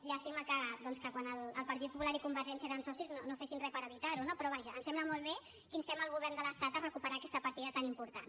llàstima que quan el partit popular i convergència eren socis no fessin res per evitar ho no però vaja ens sembla molt bé que instem el govern de l’estat a recuperar aquesta partida tan important